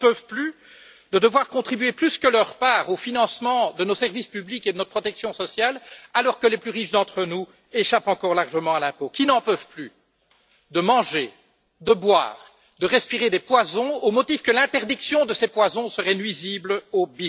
qui n'en peuvent plus de devoir contribuer plus que leur part au financement de nos services publics et de notre protection sociale, alors que les plus riches d'entre nous échappent encore largement à l'impôt qui n'en peuvent plus de manger, de boire, de respirer des poisons, au motif que l'interdiction de ces poisons serait nuisible au